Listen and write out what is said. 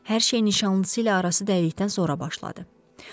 Hər şey nişanlısı ilə arası dəydikdən sonra başladı.